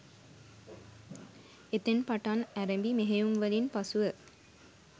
එතැන් පටන් ඇරඹි මෙහෙයුම්වලින් පසුව